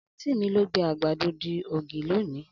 Anti mi lo gbe agbado di ogi loni